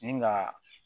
Ni ka